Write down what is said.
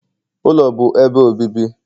ụlọ bụ ebe obibi